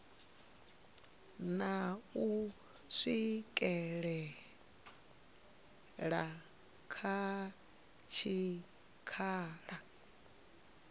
na u swikela kha tshikhala